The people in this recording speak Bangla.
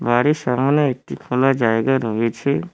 বাড়ির সামনে একটি খোলা জায়গা রয়েছে।